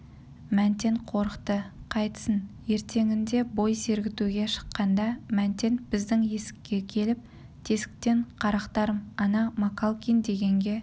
мәнтен қорықты қайтсін ертеңінде бой сергітуге шыққанда мәнтен біздің есікке келіп тесіктен қарақтарым ана макалкин дегенге